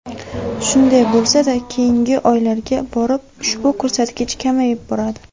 Shunday bo‘lsada, keyingi oylarga borib ushbu ko‘rsatkich kamayib boradi.